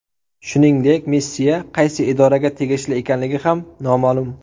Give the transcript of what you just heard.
Shuningdek, missiya qaysi idoraga tegishli ekanligi ham noma’lum.